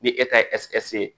Ni e ta ye ye